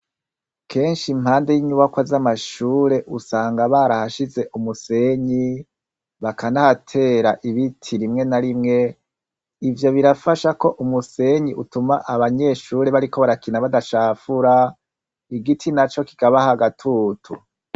Kenshi impande y'inyubakwa z'amashure usanga barahashize umusenyi, bakanahatera ibiti rimwe na rimwe, ivyo birafasha ko umusenyi utuma abanyeshure bariko barakina badacafura, igiti naco kikabaha agatutu.